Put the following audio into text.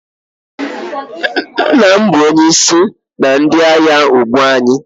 Nna m bụ onye isi na ndị agha ugbu a.